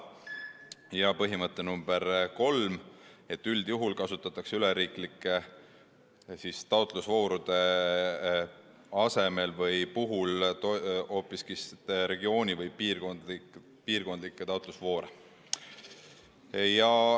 Ja põhimõte nr 3: üldjuhul kasutatakse üleriiklike taotlusvoorude asemel hoopis piirkondlikke taotlusvoore.